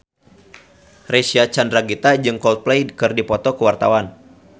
Reysa Chandragitta jeung Coldplay keur dipoto ku wartawan